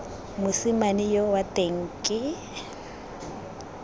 mosimane yoo wa teng ke